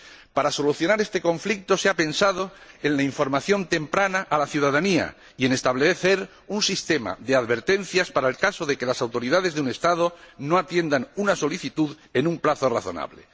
Para solucionar este conflicto, se ha pensado en la información temprana a la ciudadanía y en establecer un sistema de advertencias para el caso de que las autoridades de un Estado no atiendan una solicitud en un plazo razonable.